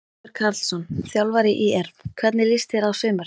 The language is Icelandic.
Heimir Karlsson, þjálfari ÍR Hvernig líst þér á sumarið?